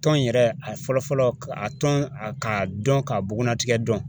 Tɔn in yɛrɛ a fɔlɔ fɔlɔ a tɔn k'a dɔn k'a bugunnatigɛ dɔn